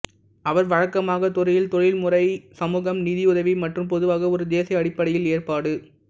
அவர்கள் வழக்கமாக துறையில் தொழில்முறை சமூகம் நிதியுதவி மற்றும் பொதுவாக ஒரு தேசிய அடிப்படையில் ஏற்பாடு